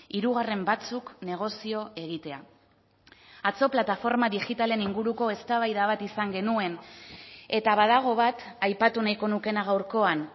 hirugarren batzuk negozio egitea atzo plataforma digitalen inguruko eztabaida bat izan genuen eta badago bat aipatu nahiko nukeena gaurkoan